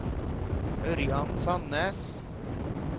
Ørjan Sandnes